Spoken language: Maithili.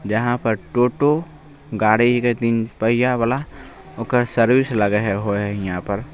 यहाँ पर टोटो गाड़ी हीके तीन पहिया वाला ओकर सर्विस लगय हेय होय यहाँ पर --